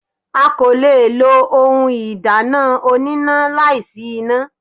A kò le lo ohun ìdáná oníná láì sí iná.